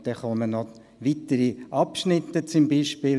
Dann folgen weitere Abschnitte, und es steht zum Beispiel: